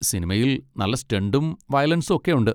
സിനിമയിൽ നല്ല സ്റ്റണ്ടും വയലൻസും ഒക്കെയുണ്ട്.